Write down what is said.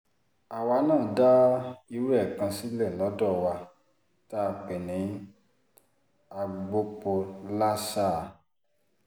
àwa náà dá irú ẹ̀ kan sílẹ̀ lọ́dọ̀ wa tá a pè ní agbopolásáà